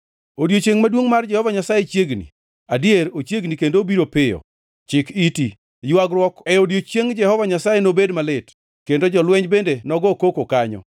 “Odiechiengʼ maduongʼ mar Jehova Nyasaye chiegni, adier ochiegni kendo obiro piyo. Chik iti! Ywagruok e odiechieng Jehova Nyasaye nobed malit, kendo jolweny bende nogo koko kanyo.